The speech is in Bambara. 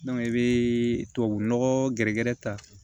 i bɛ tubabunɔgɔ gɛrɛgɛrɛ ta